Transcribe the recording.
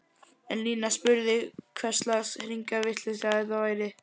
En Lína spurði hverslags hringavitleysa þetta væri?!